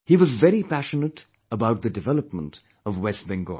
He was very passionate about the development of West Bengal